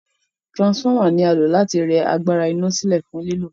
Transformer ni a lò láti rẹ agbára ina silẹ fún lílò